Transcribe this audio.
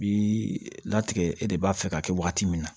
Bi latigɛ e de b'a fɛ ka kɛ waati min na